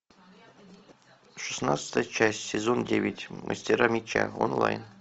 шестнадцатая часть сезон девять мастера меча онлайн